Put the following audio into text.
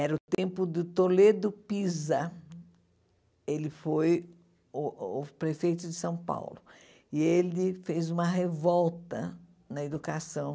Era o tempo de Toledo Pisa, ele foi o o prefeito de São Paulo, e ele fez uma revolta na educação.